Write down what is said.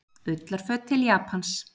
Ullarföt til Japans